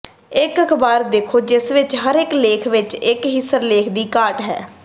ਇਕ ਅਖ਼ਬਾਰ ਦੇਖੋ ਜਿਸ ਵਿਚ ਹਰੇਕ ਲੇਖ ਵਿਚ ਇਕ ਸਿਰਲੇਖ ਦੀ ਘਾਟ ਹੈ